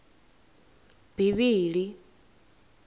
bivhili